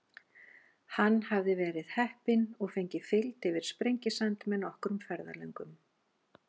Hann hafði verið heppinn og fengið fylgd yfir Sprengisand með nokkrum ferðalöngum.